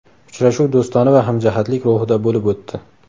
Uchrashuv do‘stona va hamjihatlik ruhida bo‘lib o‘tdi.